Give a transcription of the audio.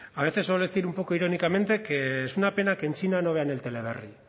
a veces suelo decir un poco irónicamente que es una pena que en china no vean el teleberri